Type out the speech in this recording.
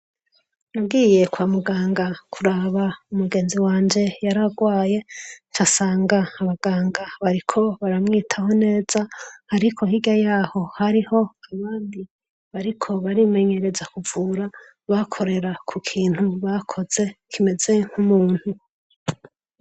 Nagiye kwa muganga kuraba umugenzi wanje yari agwaye, nca nsanga abaganga bariko baramwitaho neza. Ariko hirya yaho hariho abandi bariko barimenyereza kuvura, bakorera ku kintu bakoze kimeze nk'umuntu.